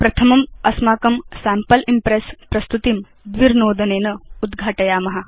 प्रथमम् अस्माकं sample Impress प्रस्तुतिं द्विर्नोदनेन उद्घाटयाम